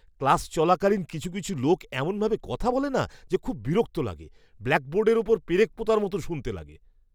Class চলাকালীন কিছু কিছু লোক এমনভাবে কথা বলে না যে খুব বিরক্ত লাগে; ব্ল্যাকবোর্ডের ওপর পেরেক পোঁতার মতন শুনতে লাগে!